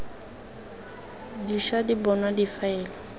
di ša di bonwa difaele